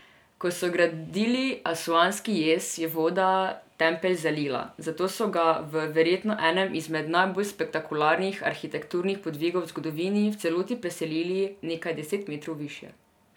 Ko so gradili Asuanski jez, bi voda tempelj zalila, zato so ga, v verjetno enem izmed najbolj spektakularnih arhitekturnih podvigov v zgodovini, v celoti preselili nekaj deset metrov višje.